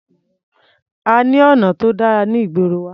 A ní ọ̀nà tó dára ní ìgboro wa.